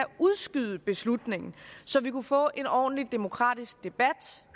udskyde beslutningen så vi kunne få en ordentlig demokratisk debat